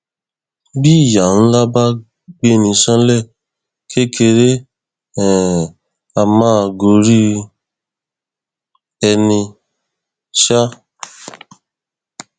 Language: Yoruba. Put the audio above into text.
bí ìyá ńlá bá gbé ní ṣánlẹ kékeré um a máa gorí ẹni um